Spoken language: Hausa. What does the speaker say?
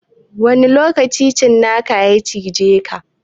Wani lokaci cinakan ya cijeka?